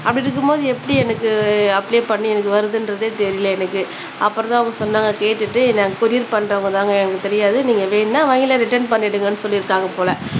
அப்பிடி இருக்கும்போது எப்பிடி எனக்கு அப்ளை பண்ணி எனக்கு வருதுன்றதே தெரில எனக்கு அப்புறம் தான் அவங்க சொன்னாங்க கேட்டுட்டு நாங்க கொரியர் பண்றவங்க தாங்க எங்களுக்கு தெரியாது நீங்க வாங்குங்க இல்லனா ரிட்டன் பண்ணிடுங்கனு சொல்லிருக்காங்க போல